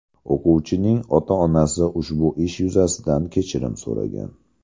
O‘quvchining ota-onasi ushbu ish yuzasidan kechirim so‘ragan.